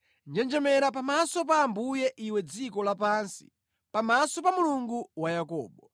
Njenjemera pamaso pa Ambuye iwe dziko lapansi, pamaso pa Mulungu wa Yakobo,